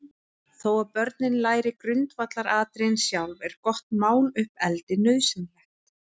Þó að börnin læri grundvallaratriðin sjálf, er gott máluppeldi nauðsynlegt.